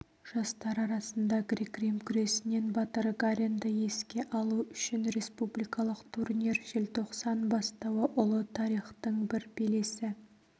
жастар арасында грек-рим күресінен батыр гаринді еске алу үшін республикалық турнир желтоқсан бастауы ұлы тарихтың бір белесі